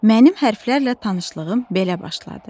Mənim hərflərlə tanışlığım belə başladı.